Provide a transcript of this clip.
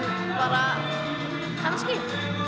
bara kannski